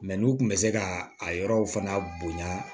n'u tun bɛ se ka a yɔrɔw fana bonya